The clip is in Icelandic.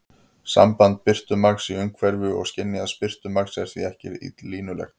Samband birtumagns í umhverfi og skynjaðs birtumagns er því ekki línulegt.